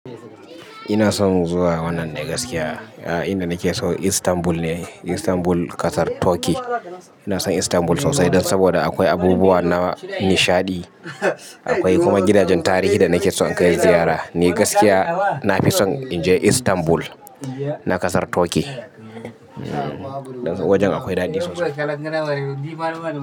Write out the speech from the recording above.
Ina son zuwa wannan ne gaskiya. Inda nake so Istanbul ne, Istanbul ƙasar Turkey. Ina son Istanbul sosai dan saboda akwai abubuwa na nishaɗi. Akwai kuma gidajen tarihi da nake son in kai ziyara. Ni gaskiya na fi son in je Istanbul na ƙasar Turkey. Wajen akwai daɗi sosai.